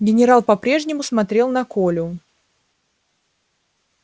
генерал по прежнему смотрел на колю